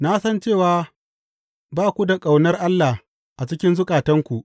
Na san cewa ba ku da ƙaunar Allah a cikin zukatanku.